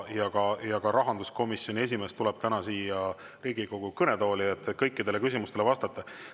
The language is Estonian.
Ka rahanduskomisjoni esimees tuleb täna siia Riigikogu kõnetooli, et kõikidele küsimustele vastata.